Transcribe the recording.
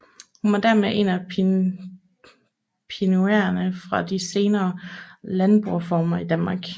Hun var dermed en af pionererne for de senere landboreformer i Danmark